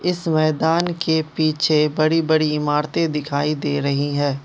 इस मैदान के पीछे बड़ी बड़ी इमारतें दिखाई दे रही हैं।